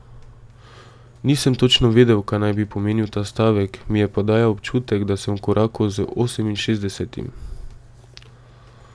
Nisem točno vedel, kaj naj bi pomenil ta stavek, mi je pa dajal občutek, da sem v koraku z oseminšestdesetim.